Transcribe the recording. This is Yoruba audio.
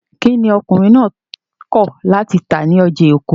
Kí ni ọkùnrin náà kọ̀ láti tà ní ọjà Èkó?